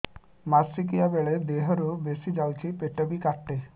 ମାସିକା ବେଳେ ଦିହରୁ ବେଶି ଯାଉଛି ପେଟ ବି କାଟେ